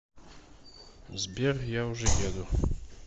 сбер я уже еду